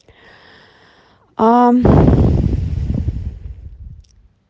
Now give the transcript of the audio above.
а